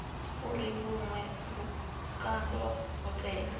uri vhuṅwe vhukando ho tea